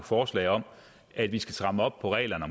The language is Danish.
forslag om at vi skal stramme op på reglerne